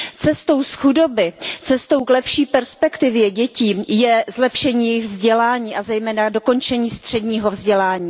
Cestou z chudoby cestou k lepší perspektivě dětí je zlepšení jejich vzdělání a zejména dokončení středního vzdělání.